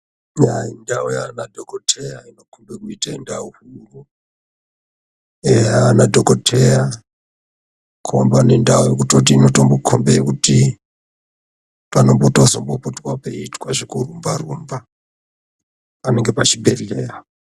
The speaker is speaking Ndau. Eya indau yaana dhokoteya inokombe kuite ndau eya ana anodhokoteya. Komba nendau yekutoti inotombokombe kuti panombotozombopota peiitwa zvekurumba-rumba. Eya pachibhehleya.